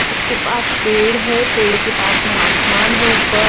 उसके पास पेड़ है पेड़ के पास में आसमान है ऊपर।